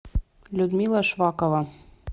людмила швакова